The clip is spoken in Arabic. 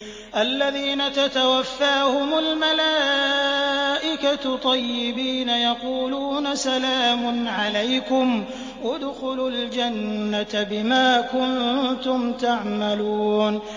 الَّذِينَ تَتَوَفَّاهُمُ الْمَلَائِكَةُ طَيِّبِينَ ۙ يَقُولُونَ سَلَامٌ عَلَيْكُمُ ادْخُلُوا الْجَنَّةَ بِمَا كُنتُمْ تَعْمَلُونَ